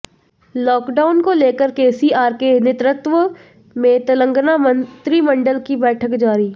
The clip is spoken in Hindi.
लॉकडाउन को लेकर केसीआर के नेतृत्व में तेलंगाना मंत्रिमंडल की बैठक जारी